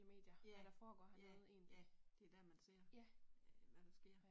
Ja, ja, ja det der man ser, hvad der sker